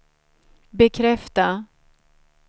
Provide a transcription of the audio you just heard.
bekräfta